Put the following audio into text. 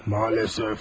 Maalesef.